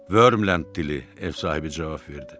"Vörmland dili" - ev sahibi cavab verdi.